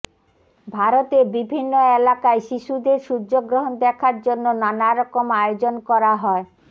ভারতে বিভিন্ন এলাকায় শিশুদের সূর্যগ্রহণ দেখার জন্য নানারকম আয়োজন করা হয়